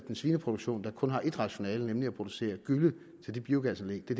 en svineproduktion der kun har ét rationale nemlig at producere gylle til de biogasanlæg det